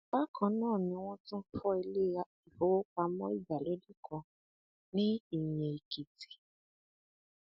bákan náà ni wọn tún fọ ilé ìfowópamọ ìgbàlódé kan ní ìyìnèkìtì